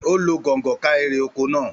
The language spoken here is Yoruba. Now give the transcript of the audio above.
Ó lo gọ̀ǹgọ̀ ká èrè oko naa